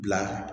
Bila